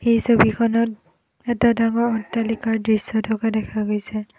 এই ছবিখনত এটা ডাঙৰ অট্টালিকাৰ দৃশ্য থকা দেখা গৈছে।